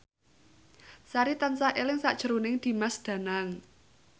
Sari tansah eling sakjroning Dimas Danang